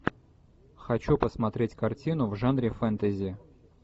хочу посмотреть картину в жанре фэнтези